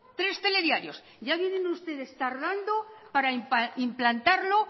tres telediarios ya vienen ustedes tardando para implantarlo